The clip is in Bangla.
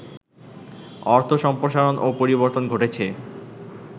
অর্থ সম্প্রসারণ ও পরিবর্তন ঘটেছে